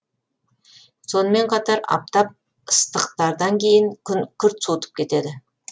сонымен қатар аптап ыстықтардан кейін күн күрт суытып кетеді